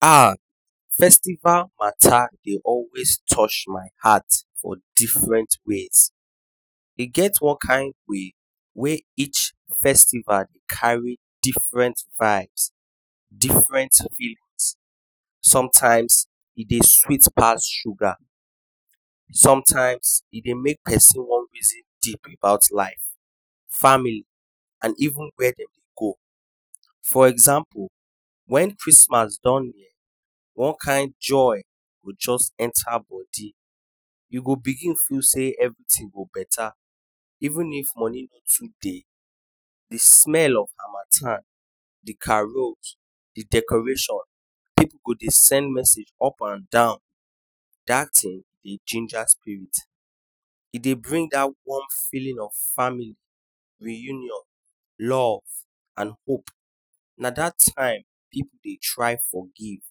Ahh festival matter Dey always touch my heart for different ways e one kin way wey each festival carry different vibes different feelings sometimes e Dey sweet pass sugar sometimes e Dey make person wan reason deep about life family and even when dem go for example when Christmas don near one kin joy go just enter body you do begin feel say everything go better even if money no fit Dey de smell of hamathan de carols de decoration pipu go Dey send message up and down dat tin Dey ginger spirit e Dey bring down one feeling of family reunion love and hope na dat time pipu Dey try forgive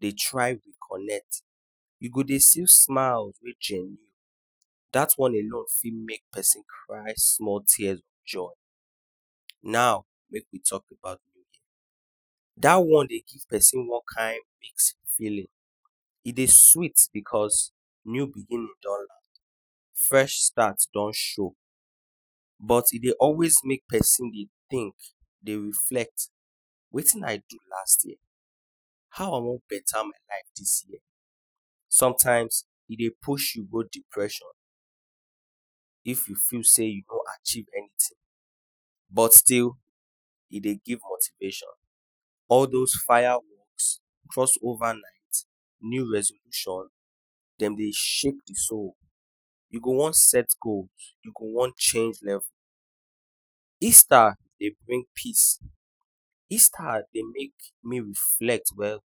Dey try reconnect you go Dey see smiles wey genuine dat one alone fit make person cry small tears of joy now make we talk about new year dat one Dey give person one kin mixed feeling e Dey sweet because new beginning don land fresh start don show but e Dey always Dey make person think Dey reflect wetin I do last year how I wan better my life dis year sometimes e Dey push you go depression if you feel say you no achieve anything but still Dey Dey give motivation all dose fire works cross over night new resolution dem Dey shake de soul you go wan set goals you go wan change level Easter Dey bring peace Easter Dey make make we reflect well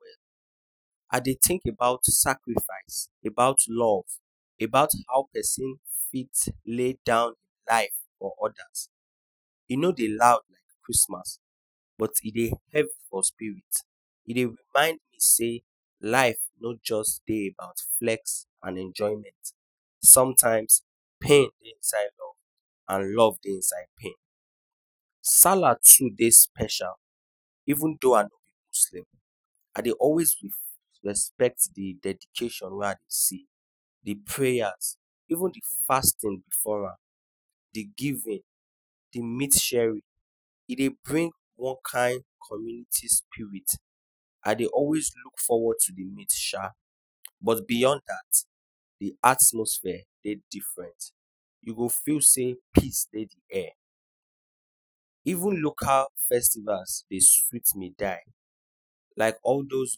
well Dey think about sacrifice about love about how person fit lay down life for odas e no Dey loud like Christmas but e Dey heavy for spirit e Dey remind you sey life no just Dey about flexing and enjoyment sometimes pain Dey inside love and love Dey inside pain Wallahi to Dey special even though I no be Muslim I Dey always respect de dedication wey I Dey see de prayers even de fasting before am de giving de meat sharing e Dey bring one kin community spirit I Dey always look forward to de meat shaa but beyond dat de atmosphere Dey different you go feel sey peace Dey de air even local festivals Dey sweet me die like all dose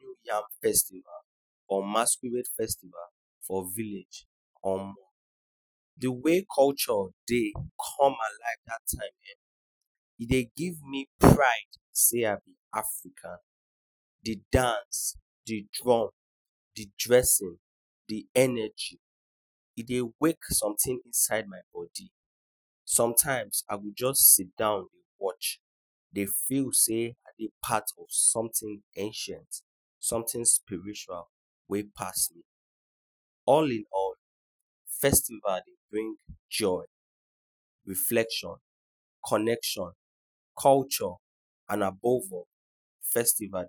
new yam festival or masquerade festival for village omo de way culture Dey come alive dat time[um]e Dey give me pride say I be African de dance de drum de dressing de energy e Dey wake something inside my body sometimes I go just sit down watch Dey feel sey impact of something accent something spiritual wey pass by All in all festival Dey bring joy reflection connection culture and above all festival